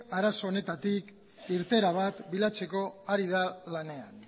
arazo honetatik irteera bat bilatzeko ari da lanean